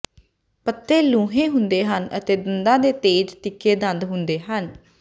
ਪੱਤੇ ਲੂੰਹੇ ਹੁੰਦੇ ਹਨ ਅਤੇ ਦੰਦਾਂ ਦੇ ਤੇਜ਼ ਤਿੱਖੇ ਦੰਦ ਹੁੰਦੇ ਹਨ